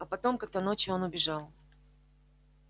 а потом как то ночью он убежал